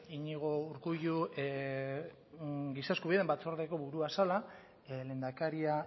iñigo urkullu giza eskubideen batzordeko burua zela lehendakaria